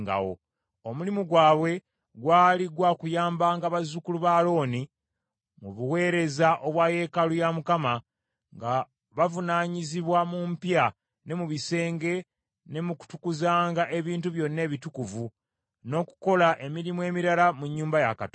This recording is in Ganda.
Omulimu gwabwe gwali gwa kuyambanga bazzukulu ba Alooni mu buweereza obwa yeekaalu ya Mukama , nga bavunaanyizibwa mu mpya ne mu bisenge, ne mu kutukuzanga ebintu byonna ebitukuvu, n’okukola emirimu emirala mu nnyumba ya Katonda.